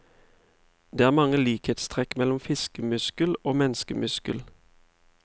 Det er mange likhetstrekk mellom fiskemuskel og menneskemuskel.